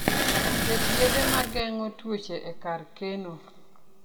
Ket yedhe ma geng'o tuoche e kar keno.